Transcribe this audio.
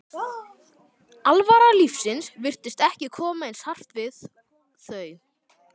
alvara lífsins virtist ekki koma eins hart við þau.